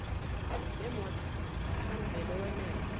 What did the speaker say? nemoto kamveli oweyeme